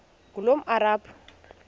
ngulomarabu